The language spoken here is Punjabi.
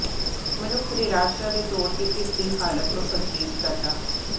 ਮਨੁੱਖ ਨਿਰਾਸ਼ਾ ਦੇ ਤੌਰ ਤੇ ਇਸ ਦੀ ਹਾਲਤ ਨੂੰ ਸੰਕੇਤ ਕਰਦਾ ਹੈ